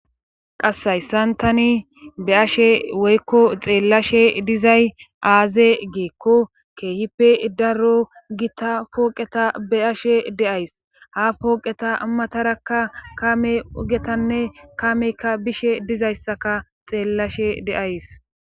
Hasshayssan tani be ashe woykko xeellashe dizay aaze geekko keehippe daro gita pooqeta be ashe deays ha pooqeta matarakka kame ugetanne kameykka bishe dizayssaka xeellashe deays